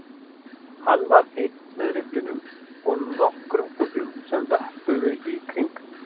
Hann var einn með rifflinum og nokkrum fuglum sem vöppuðu í kring